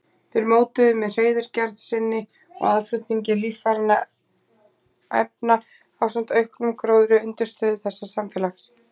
Þeir mótuðu með hreiðurgerð sinni og aðflutningi lífrænna efna ásamt auknum gróðri undirstöðu þessa samfélags.